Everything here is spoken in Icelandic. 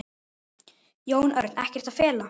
Jón Örn: Ekkert að fela?